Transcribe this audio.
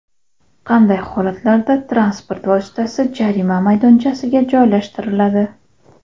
Qanday holatlarda transport vositasi jarima maydonchasiga joylashtiriladi?.